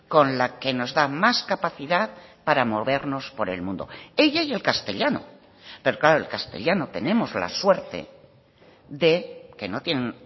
con la que nos da más capacidad para movernos por el mundo ella y el castellano pero claro el castellano tenemos la suerte de que no tienen